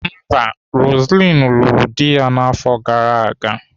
Mba, Roseline lụrụ di afọ gara aga.